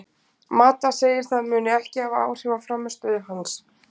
Mata segir að það muni ekki hafa áhrif á frammistöðu hans.